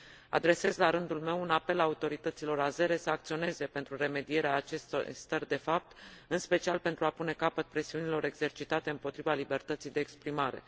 Adresez, la rândul meu, un apel autorităților azere să acționeze pentru remedierea acestor stări de fapt, în special pentru a pune capăt presiunilor exercitate împotriva libertății de exprimare.